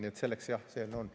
Nii et jah, selleks ta on.